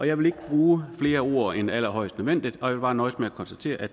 jeg vil ikke bruge flere ord end allerhøjst nødvendigt og jeg vil bare nøjes med at konstatere at